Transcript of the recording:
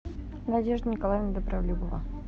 надежда николаевна добролюбова